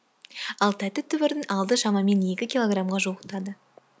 ал тәтті түбірдің алды шамамен екі килограмға жуықтады